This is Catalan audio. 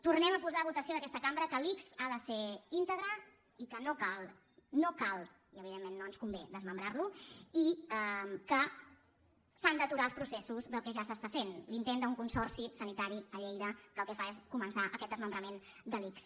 tornem a posar a votació d’aquesta cambra que l’ics ha de ser íntegre i que no cal no cal i evidentment no ens convé desmembrarlo i que s’han d’aturar els processos del que ja s’està fent l’intent d’un consorci sanitari a lleida que el que fa és començar aquest desmembrament de l’ics